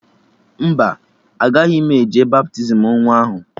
Mba, agaghị m eje baptizim nwa ahụ